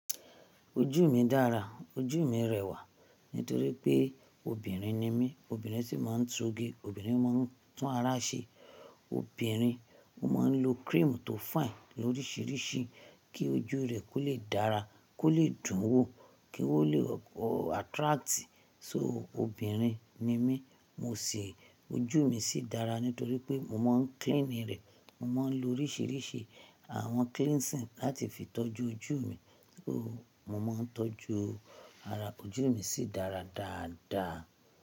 Ojú mi dára, ojú mi rẹwà nítorí pé obìnrin ni mí. Obìnrin sì máa ń tún óge, obìnrin máa ń tún ara ṣe, obìnrin máa ń lo cream tó fine lórisìírìsí kí ojú rẹ̀ kó lè dára, kó lè dùn wò, kí ó lè o o attract. So obìnrin ni mí, mo sì, ojú mi sì dára nítorí pé mo máa ń clean ní rẹ̀. Mo máa ń lo orísìírísìí àwọn cleansing láti fi tọ́jú ojú mi. So mo máa ń tọ́jú ara, ojú mi sì dára dáadáa.